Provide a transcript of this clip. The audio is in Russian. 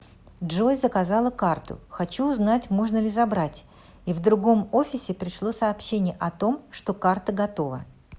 джой заказала карту хочу узнать можно ли забрать и в другом офисе пришло сообщение о том что карта готова